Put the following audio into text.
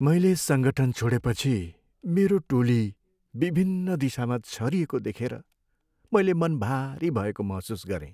मैले सङ्गठन छोडेपछि मेरो टोली विभिन्न दिशामा छरिएको देखेर मैले मन भारी भएको महसुस गरेँ।